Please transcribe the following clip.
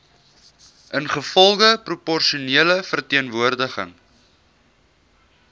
ingevolge proporsionele verteenwoordiging